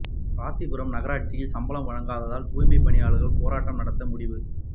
ராசிபுரம் நகராட்சியில் சம்பளம் வழங்காததால் தூய்மை பணியாளர்கள் போராட்டம் நடத்த முடிவு